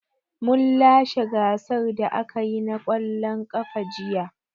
Mun lashe gasar da aka yi na ƙwallon ƙafa jiya.